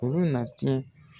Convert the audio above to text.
U nati